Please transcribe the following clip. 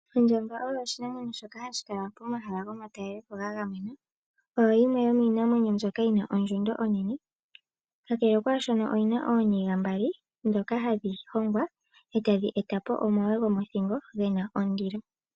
Ondjamba oyo oshinamwenyo shoka hashi kala pomahala gomatalelepo gagamenwa. Oyo yimwe yomiinamwenyo mbyoka yina ondjundo onene kakele kwashono oyina ooniga mbali ndhoka hadhi hongwa etadhi etapo omagwe gomothingo gena ondilo.